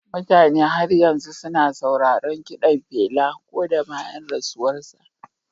Mutane har yanzu suna sauraron kiɗan Pela ko da bayan rasuwarsa.